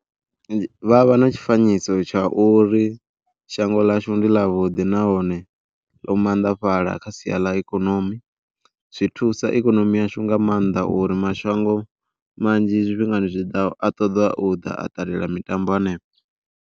Vha vha na tshifanyiso tsha uri shango ḽashu ndi ḽa vhuḓi nahone ḽo maanḓafhaḽa kha sia ḽa ikonomi, zwi thusa ikonomi yashu nga maanḓa uri mashango manzhi zwifhingani zwi a ṱoḓa u ḓa a ṱalela mitambo hanefho.